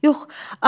Yox, axı.